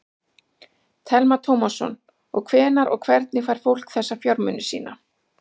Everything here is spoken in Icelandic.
Telma Tómasson: Og hvenær og hvernig fær fólk þessa fjármuni sína?